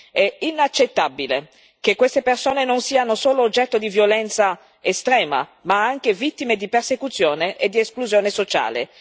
È inaccettabile che queste persone non siano solo oggetto di violenza estrema, ma anche vittime di persecuzione e di esclusione sociale.